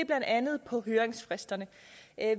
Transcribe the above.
blandt andet høringsfristerne